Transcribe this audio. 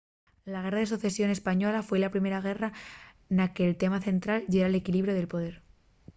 la guerra de socesión española foi la primera guerra na que’l tema central yera l’equilibriu de poder